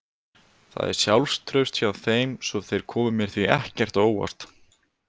Það er sjálfstraust hjá þeim svo þeir komu mér því ekkert á óvart.